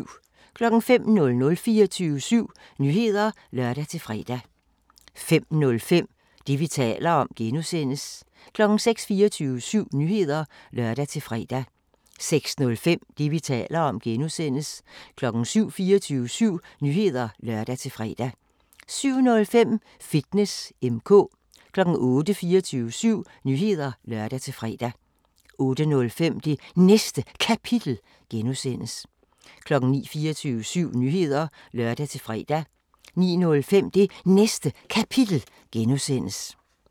05:00: 24syv Nyheder (lør-fre) 05:05: Det, vi taler om (G) 06:00: 24syv Nyheder (lør-fre) 06:05: Det, vi taler om (G) 07:00: 24syv Nyheder (lør-fre) 07:05: Fitness M/K 08:00: 24syv Nyheder (lør-fre) 08:05: Det Næste Kapitel (G) 09:00: 24syv Nyheder (lør-fre) 09:05: Det Næste Kapitel (G)